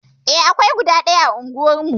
Eh, akwai guda ɗaya a unguwarmu.